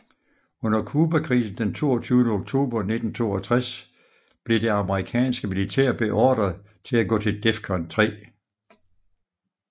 Under Cubakrisen den 22 oktober 1962 blev det amerikanske militær beordret til at gå til DEFCON 3